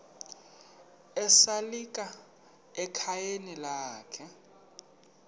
esalika ekhayeni lakhe